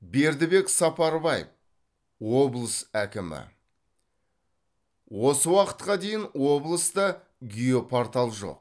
бердібек сапарбаев облыс әкімі осы уақытқа дейін облыста геопортал жоқ